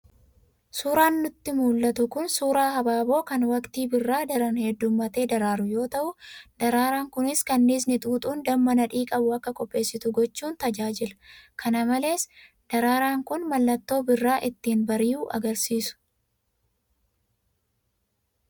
Suuraan nutti mul'atu kun suuraa habaaboo kan waqtii birraa daran heddummatee daraaruu yoo ta'u, daraaraan kunis kanniisni xuuxuun damma nadhii qabu akka qopheessitu gochuun tajaajila, kana malees daraaraan kun mallattoo birraan ittiin bari'u agarsiisa.